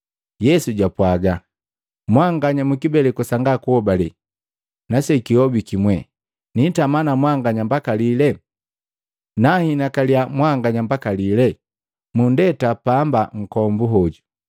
Yesu jwapwaga, “Mwanganya mukibeleku sanga kuhobale na sekihobiki mwee! Niitama na mwanganya mbaka lile? Nanhinakalia mwanganya mbaka lile? Munndeta pani nkombu hoju.”